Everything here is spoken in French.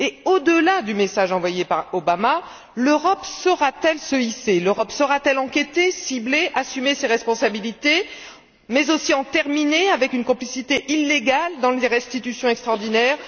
Au delà du message envoyé par Obama, l'Europe saura t elle se hisser, l'Europe saura t elle enquêter, cibler, assumer ses responsabilités, mais aussi en terminer avec une complicité illégale dans les restitutions extraordinaires?